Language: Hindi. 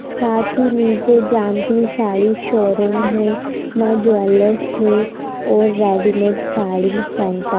साथी में जानवी साड़ी शोरूम है मां ज्वेलर्स है और रेडीमेड साड़ी सेंटर